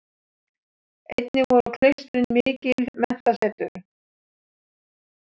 Einnig voru klaustrin mikil menntasetur.